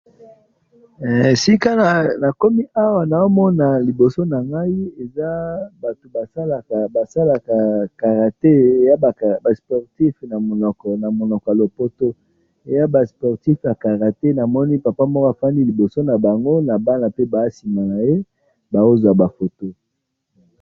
sika nakomi awa, nazomona liboso nangai, eza batu basalaka, basalaka karate ba sportif namonoko ya lopoto, eya ba sportif ya karate, namoni papa moko afandi liboso na bango, na bana pe na sima naye, bazua ba photos